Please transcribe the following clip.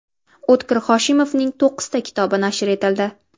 O‘tkir Hoshimovning to‘qqizta kitobi nashr etildi.